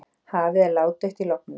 Hafið er ládautt í logninu.